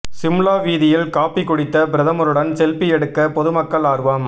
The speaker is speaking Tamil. சிம்லா வீதியில் காபி குடித்த பிரதமருடன் செல்பி எடுக்க பொதுமக்கள் ஆர்வம்